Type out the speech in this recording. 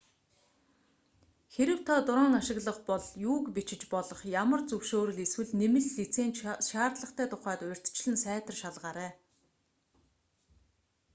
хэрэв та дрон ашиглах бол юуг бичиж болох ямар зөвшөөрөл эсвэл нэмэлт лиценз шаардлагатай тухайд урьдчилан сайтар шалгаарай